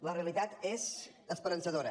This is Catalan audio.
la realitat és esperançadora